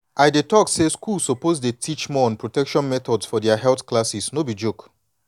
i dey talk say schools suppose dey teach more on protection methods for their health classes no be joke.